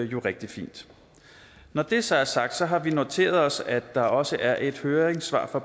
jo rigtig fint når det så er sagt har vi noteret os at der også er et høringssvar fra